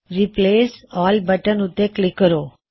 replace all button ਉੱਤੇ click ਕਰੋ